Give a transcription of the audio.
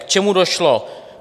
K čemu došlo?